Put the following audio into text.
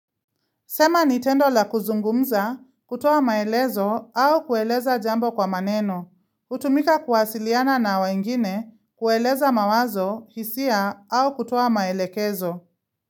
Sema nitendo la kuzungumza kutoa maelezo au kueleza jambo kwa maneno. Utumika kuwasiliana na wengine kueleza mawazo hisia au kutoa maelekezo.